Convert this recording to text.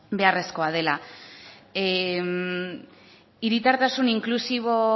beharrezkoa dela hiritartasun inklusibo